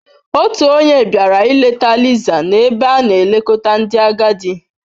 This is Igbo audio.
Otu onye bịara ileta Lisa n'ebe a na-elekọta ndị agadi.